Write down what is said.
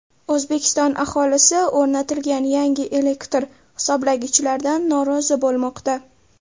O‘zbekiston aholisi o‘rnatilgan yangi elektr hisoblagichlardan norozi bo‘lmoqda.